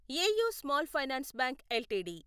AU small finance bank LTD